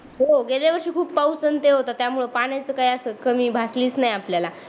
हो गेल्या वर्षी खूप पाऊस आणि ते होत त्यामुळ पाण्याची काही कमी भासलीच नाही आपल्याला